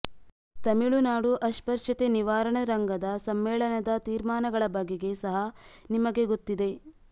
ತಮಿಳುನಾಡು ಅಸ್ಪೃಶ್ಯತೆ ನಿವಾರಣ ರಂಗದ ಸಮ್ಮೇಳನದ ತೀರ್ಮಾನಗಳ ಬಗೆಗೆ ಸಹ ನಿಮಗೆ ಗೊತ್ತಿದೆ